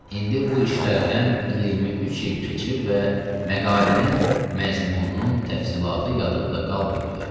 İndi bu işlərdən 23 il keçir və məqalənin məzmununun təfsilatı yadımda qalmayıbdır.